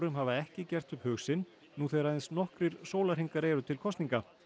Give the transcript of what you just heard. hafa ekki gert upp hug sinn nú þegar aðeins nokkrir sólarhringar eru til kosninga